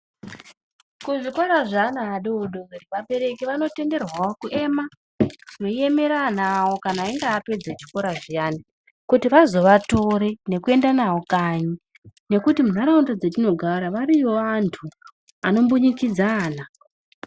Kuzvikora zvevana vadodori vabereki vanotenderwawo kuema , veiemera vana vavo kana vazopedza chikora zviyani vazovatore nekuenda navo kanyi .nekuti mundharaunda dzatinogara variyowo vantu vanombunyikidza vana.